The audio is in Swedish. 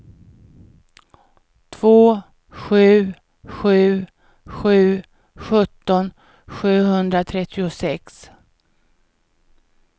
två sju sju sju sjutton sjuhundratrettiosex